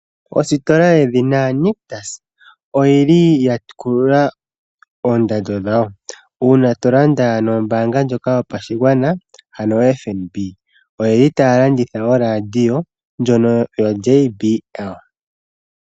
Ositola yedhina nictus oyili ya kulula oondando dhawo uuna tolanda nombanga ndjoka yopashigwana oFNB oyeli taya landitha oradio ndjono yo JBL.